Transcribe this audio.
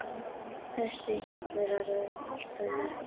Þessi hjallur er orðinn allt of lítill.